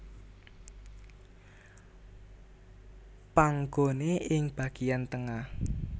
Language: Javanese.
Panggone ing bagian tengah